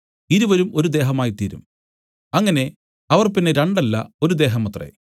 ഇരുവരും ഒരു ദേഹമായിത്തീരും അങ്ങനെ അവർ പിന്നെ രണ്ടല്ല ഒരു ദേഹമത്രേ